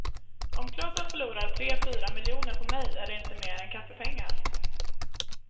Om klubben förlorar tre fyra miljoner på mig är det inte mer än kaffepengar.